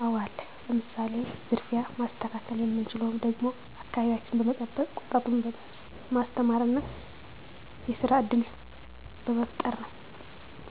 አወ አለ ለምሳሌ፦ ዝርፊያ ማስተካከል የምንችለውም ደግሞ አከባቢያችን በመጠበቅ ወጣቱን ማስተማር እና የስራ እድል በመፍጠር ነው